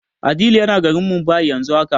Adeel yana garin Mumbai yanzu haka.